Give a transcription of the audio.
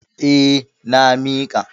Eh, na miƙa.